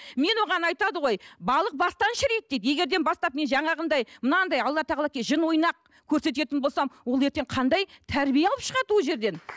мен оған айтады ғой балық бастан шіриді дейді егер де бастап мен жаңағындай мынандай алла тағала жын ойнақ көрсететін болсам ол ертең қандай тәрбие алып шығады ол жерден